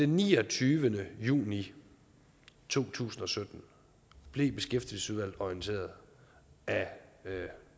niogtyvende juni to tusind og sytten blev beskæftigelsesudvalget orienteret af